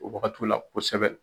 O wagatiw la kosɛbɛ.